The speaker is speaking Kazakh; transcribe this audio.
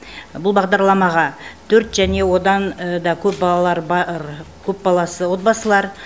бұл бағдарламаға төрт және одан да көп балалары бар көп баласы отбасылар